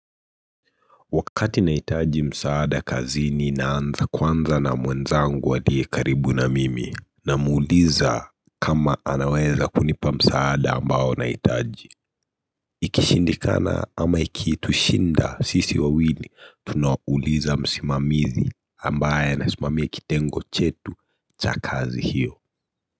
Wakati nahitaji msaada kazi naanza kwanza na mwenzangu aliye karibu na mimi namuuliza kama anaweza kunipa msaada ambao naitaji Ikishindikana ama ikitushinda sisi wawili tunauuliza msimamizi ambaye anasimamia kitengo chetu cha kazi hiyo.